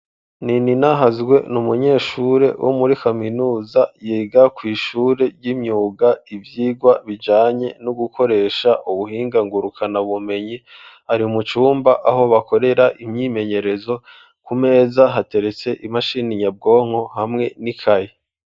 Nininahazwe n'umunyeshure wo muri kaminuza yiga kw'ishure ry'imyuga ivyigwa bijanye no gukoresha ubuhingangurukana bumenyi ,ari mucumba aho bakorera imyimenyerezo ,ku meza hateretse imashini nyabwonko hamwe n'ikaye.